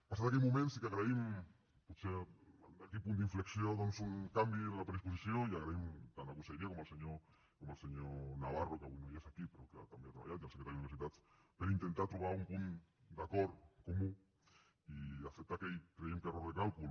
passat aquell moment sí que agraïm potser aquell punt d’inflexió un canvi en la predisposició i donem les gràcies tant a la conselleria com al senyor navarro que avui no és aquí però que també hi ha treballat i al secretari d’universitats per intentar trobar un punt d’acord comú i acceptar aquell creiem error de càlcul